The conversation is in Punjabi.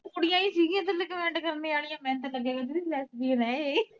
ਕਈ ਸੀ ਗੀਆ ਥੱਲੇ comment ਕਰਨੇ ਵਾਲੀਆਂ ਮੈਨੂੰ ਤਾ ਲਗਿਆ ਦੀਦੀ ਇਹ